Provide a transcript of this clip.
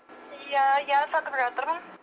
иә иә сатып жатырмын